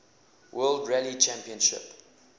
world rally championship